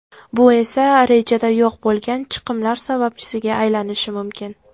Bu esa, rejada yo‘q bo‘lgan chiqimlar sababchisiga aylanishi mumkin.